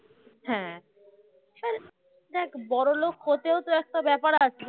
দেখ বড়লোক হতেও তো একটা ব্যাপার আছে